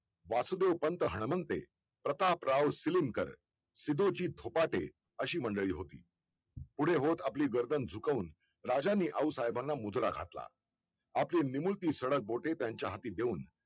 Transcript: वासुदेव पंत हणमंते प्रतापराव शिलीमकर सिधोजी थोपटे अशी मंडळी होती पुढे होत आपली गर्दन झुकवून राजांन आऊसाहेबांना मुजरा घातला आपली निमुळती धडक बोटे त्यांच्या हाती देऊन